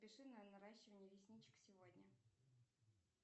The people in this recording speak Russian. запиши на наращивание ресничек сегодня